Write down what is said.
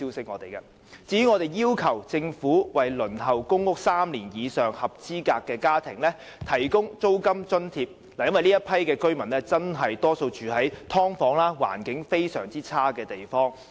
我們亦要求政府為輪候公屋3年以上的合資格家庭提供租金津貼，因為這些居民大多數住在"劏房"這類環境極差的地方。